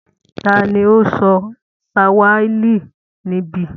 Ta ni ó ń sọ Swahili níbí?